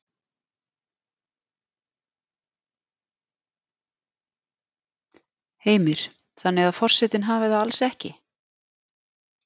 Heimir: Þannig að forsetinn hafi það alls ekki?